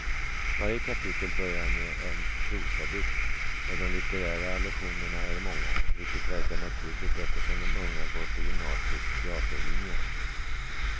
Varje kapitel börjar med en prosadikt och de litterära allusionerna är många, vilket verkar naturligt eftersom de unga går på gymnasiets teaterlinje.